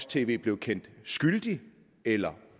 tv blev kendt skyldige eller